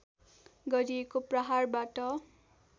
गरिएको प्रहारबाट